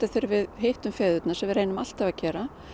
þegar við hittum feðurna sem við reynum alltaf að gera